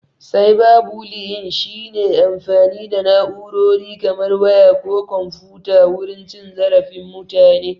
"Cyber bullying" shi ne amfani da na'urori kamar waya ko komfuta wurin cin zarafin mutane.